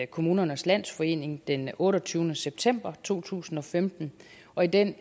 kommunernes landsforening den otteogtyvende september to tusind og femten og i den